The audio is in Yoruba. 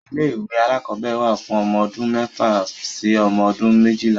Ilé-ìwé alákọ̀ọ́bẹ̀rẹ̀ wà fún ọmọ odún mẹ́fà sí ọmọ ọdún méjìlá.